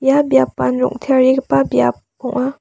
ia biapan rong·tearigipa biap ong·a.